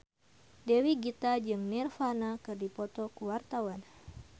Dewi Gita jeung Nirvana keur dipoto ku wartawan